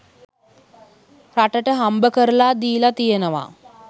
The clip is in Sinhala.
රටට හම්බකරලා දීලා තියෙනවා.